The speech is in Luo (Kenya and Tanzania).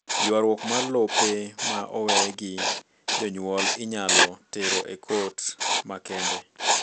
Ywaruok mar lope ma owe gi jonyuol inyalo tero e kot makende.